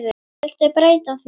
Viltu breyta því